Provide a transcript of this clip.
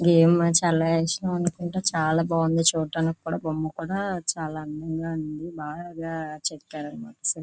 ఇదేమో చాలా ఇష్టం అనుకుంటా చాలా బాగుంది చూడనికి కూడా బొమ్మ కూడా చాలా అందంగా ఉంది బాగా చెక్కారు --